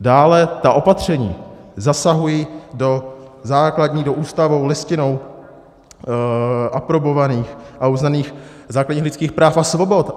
Dále ta opatření zasahují do základních, do Ústavou, Listinou aprobovaných a uznaných základních lidských práv a svobod.